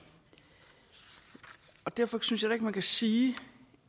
derfor synes jeg heller ikke man kan sige